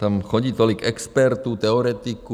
Tam chodí tolik expertů, teoretiků.